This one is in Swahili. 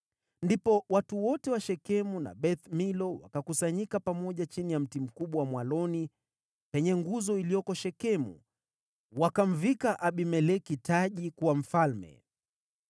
Ndipo watu wote wa Shekemu na Beth-Milo wakakusanyika pamoja chini ya mti mkubwa wa mwaloni penye nguzo iliyoko Shekemu wakamvika Abimeleki taji kuwa mfalme.